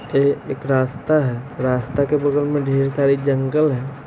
एह एक रास्ता है रास्ते के बगल में ढेर सारी जंगल हैं।